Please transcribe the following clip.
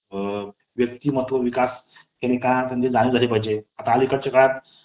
अ... व्यक्तिमत्व विकास हे झालं पाहिजे . आता अलीकडच्या काळात